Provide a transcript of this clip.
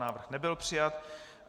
Návrh nebyl přijat.